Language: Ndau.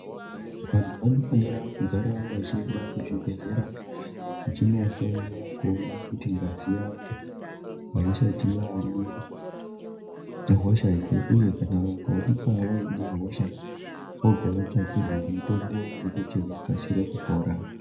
Vandu vanofanira kugara vachienda kuzvibhehlera veindohloiwa kuona kuti ngazi yavo aisati yane hosha ere uye kana yane hosha vobva vatsvakirwa mutombo yekuti vakasire kupora.